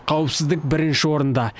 қауіпсіздік бірінші орында